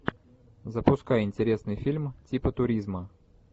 запускай интересный фильм типа туризма